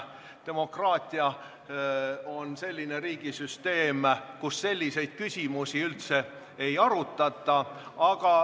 Demokraatia on selline riigisüsteem, kus selliseid küsimusi üldse ei arutata.